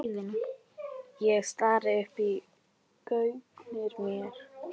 Ég stari í gaupnir mér.